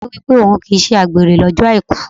Ọ̀rẹ́ mi wípé òhun kì í ṣe àgbèrè lọ́jọ́ Àìkú.